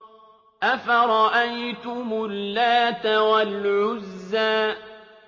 أَفَرَأَيْتُمُ اللَّاتَ وَالْعُزَّىٰ